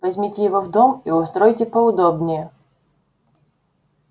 возьмите его в дом и устройте поудобнее